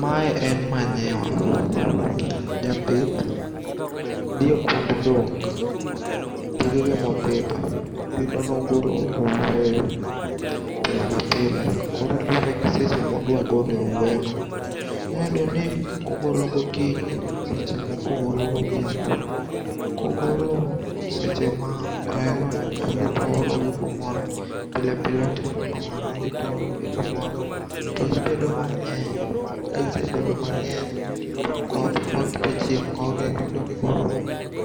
Mae en manure. Japith dhi e kund dhok ,dhogege mopidho. Iyudo ni ogolo owuoyo pile ka pile . Koro luwore gi seche ma odwa golo e owuoyono. Inya yudo ni, ogolo gokinyi, seche moko ogolo godhiambo. Kogolo seche ma oherono , to odhi toologi kumoro, pile pile otimo kamano, odhi to oologi kumoro, to gibedo mang'eny. Ka gisebedo mang'eny, to koth koth to chieng' gogi iyudo ni koro